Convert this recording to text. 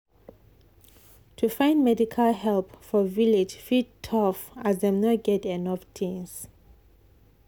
to find medical help for village fit tough as dem no get enough things.